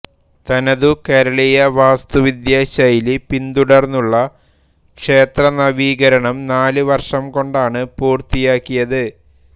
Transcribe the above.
തനതു കേരളീയ വാസ്തുവിദ്യാശൈലി പിന്തുടർന്നുള്ള ക്ഷേത്ര നവീകരണം നാല് വർഷം കൊണ്ടാണ് പൂർത്തിയാക്കിയത്